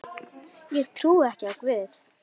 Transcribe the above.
Ég trúi ekki á Guð.